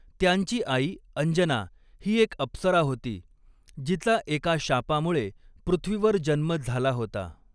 त्यांची आई अंजना ही एक अप्सरा होती, जिचा एका शापामुळे पृथ्वीवर जन्म झाला होता.